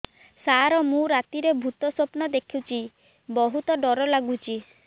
ସାର ମୁ ରାତିରେ ଭୁତ ସ୍ୱପ୍ନ ଦେଖୁଚି ବହୁତ ଡର ଲାଗୁଚି